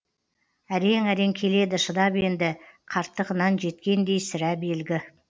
әрең әрең келеді шыдап енді қарттығынан жеткендей сірә белгі